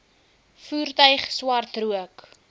voertuig swart rook